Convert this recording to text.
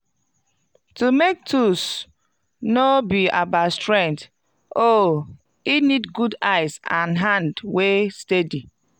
to make tools no be about strength oh e need good eyes and hand wey steady